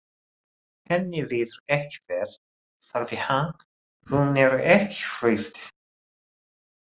Henni líður ekki vel, sagði hann: Hún er ekki hraust.